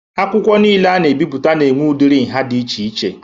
Akwụkwọ nile a na-ebipụta na-enwe udiri nhá dị iche iche.